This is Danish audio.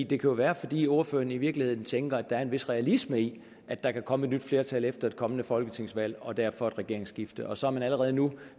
det kan jo være fordi ordføreren i virkeligheden tænker at der er en vis realisme i at der kan komme et nyt flertal efter et kommende folketingsvalg og derfor et regeringsskifte og så er man allerede nu